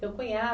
Seu cunhado?